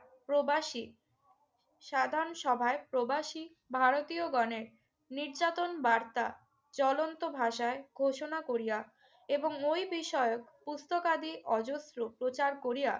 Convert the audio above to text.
প্রবাসী সাধারণ সভায় প্রবাসী ভারতীয়গণের নির্যাতন বার্তা জ্বলন্ত ভাষায় ঘোষণা করিয়া এবং ওই বিষয়ক পুস্তকাদি অজস্র প্রচার করিয়া